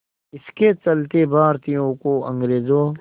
इसके चलते भारतीयों को अंग्रेज़ों